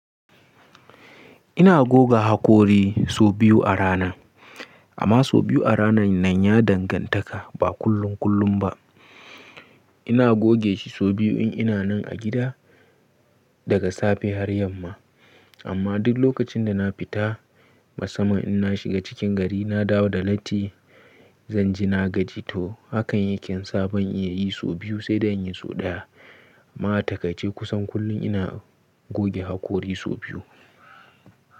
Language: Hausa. Ina goga hakori sau biyu a rana. Amma sau biyu a rana nan ya dangantaka ba kullum kullum ba. Ina goge shi sau biyu in ina nan a gida daga safe har yamma. Amma duk lokacin da na fita masamman in na shiga cikin gari, na dawo da latti, zan ji na gaji to. Hakan yake sa ban iya yi sau biyu sai dai in yi sau ɗaya. Amma a takace kusan kullum ina goge hakori sau biyu.